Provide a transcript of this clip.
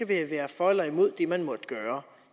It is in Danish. være for eller imod det man måtte gøre